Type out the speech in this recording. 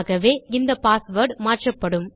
ஆகவே இந்த பாஸ்வேர்ட் மாற்றப்படும்